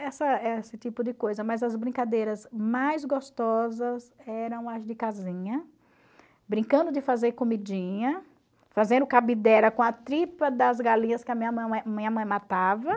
Essa esse tipo de coisa, mas as brincadeiras mais gostosas eram as de casinha, brincando de fazer comidinha, fazendo com a tripa das galinhas que a minha mãe matava.